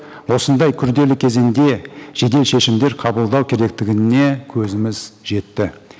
осындай күрделі кезеңде жедел шешімдер қабылдау керектігіне көзіміз жетті